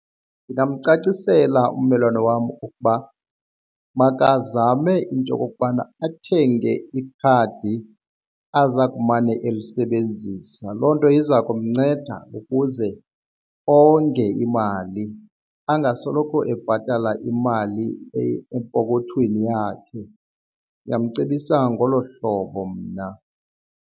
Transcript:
Ndingamcacisela ummelwane wam ukuba makazame into okokubana athenge ikhadi aza kumane elisebenzisa loo nto iza kumnceda ukuze onge imali angasoloko ebhatala imali epokothweni yakhe, ndingamcebisa ngolo hlobo mna.